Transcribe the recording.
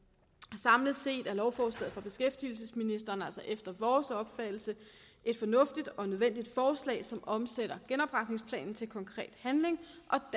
samlet set er lovforslaget fra beskæftigelsesministeren altså efter vores opfattelse et fornuftigt og nødvendigt forslag som omsætter genopretningsplanen til konkret handling